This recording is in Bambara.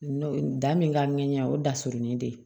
Da min ka ɲɛ o da surunin de ye